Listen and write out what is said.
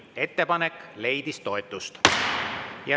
Ettepanek leidis toetust.